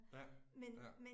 Ja, ja